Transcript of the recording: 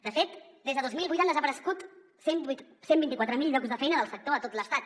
de fet des de dos mil vuit han desaparegut cent i vint quatre mil llocs de feina del sector a tot l’estat